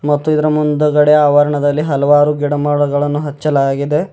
ಮತ್ತು ಇದರ ಮುಂದುಗಡೆ ಆವರಣದಲ್ಲಿ ಹಲವಾರು ಗಿಡಮರಗಳನ್ನು ಹಚ್ಚಲಾಗಿದೆ.